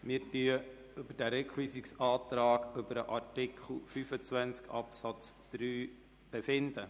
Wir befinden über den Rückweisungsantrag zu Artikel 25 Absatz 3 ab.